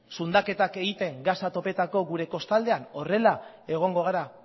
zundaketak egiten gasak topatzeko kostaldean horrela egongo gara